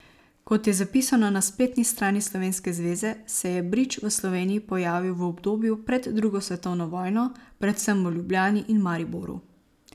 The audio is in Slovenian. Kot je zapisano na spletni strani slovenske zveze, se je bridž v Sloveniji pojavil v obdobju pred drugo svetovno vojno, predvsem v Ljubljani in Mariboru.